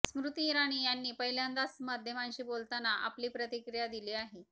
स्मृती इराणी यांनी पहिल्यांदाच माध्यमांशी बोलतांना आपली प्रतिक्रिया दिली आहे